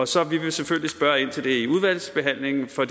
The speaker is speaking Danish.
så vi vil selvfølgelig spørge ind til det i udvalgsbehandlingen for